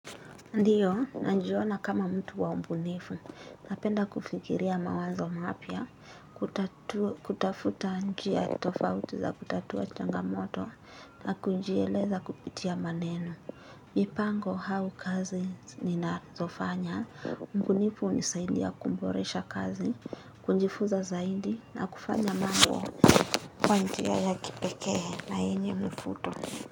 Ndiyo, najiona kama mtu wa mbunifu, napenda kufikiria mawazo mapya, kutafuta njia tofauti za kutatua changamoto, na kunjieleza kupitia maneno. Mipango au kazi ninazofanya, mbunifu ni saidi ya kuboresha kazi, kujifuza zaidi, na kufanya mambo kwa njia ya kipekee na yenye mvuto.